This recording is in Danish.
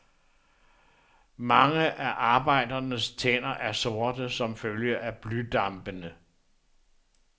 Mange af arbejdernes tænder er sorte som følge af blydampene.